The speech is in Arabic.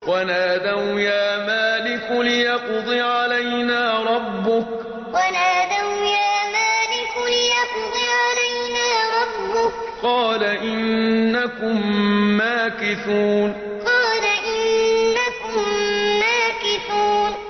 وَنَادَوْا يَا مَالِكُ لِيَقْضِ عَلَيْنَا رَبُّكَ ۖ قَالَ إِنَّكُم مَّاكِثُونَ وَنَادَوْا يَا مَالِكُ لِيَقْضِ عَلَيْنَا رَبُّكَ ۖ قَالَ إِنَّكُم مَّاكِثُونَ